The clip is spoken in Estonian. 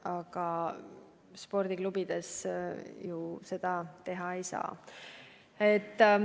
Aga spordiklubides ju seda teha ei saa.